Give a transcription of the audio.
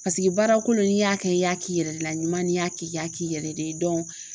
Paseke baara kolo n'i y'a kɛ i y'a k'i yɛrɛ la ɲuman n'i y'a kɛ i y'a k'i yɛrɛ de ye